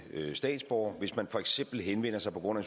statsborgere hvis man for eksempel henvender sig på grund af